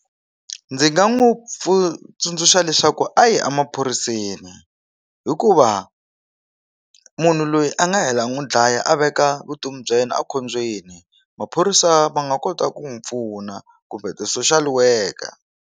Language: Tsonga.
Ndzi nga n'wi pfuna tsundzuxa leswaku a yi emaphoriseni hikuva munhu loyi a nga hela n'wi dlaya a veka vutomi bya yena a khombyeni maphorisa ma nga kota ku n'wi pfuna kumbe ti-social worker.